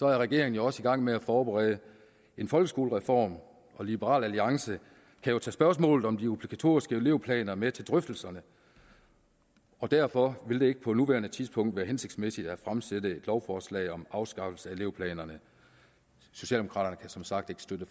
er regeringen også i gang med at forberede en folkeskolereform og liberal alliance kan jo tage spørgsmålet om de obligatoriske elevplaner med til drøftelserne derfor vil det ikke på nuværende tidspunkt være hensigtsmæssigt at fremsætte et lovforslag om afskaffelse af elevplanerne socialdemokraterne kan som sagt ikke støtte